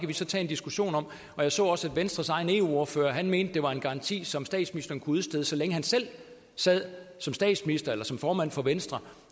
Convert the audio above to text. vi så tage en diskussion om og jeg så også at venstres egen eu ordfører mente at det var en garanti som statsministeren kunne udstede så længe han selv sad som statsminister eller som formand for venstre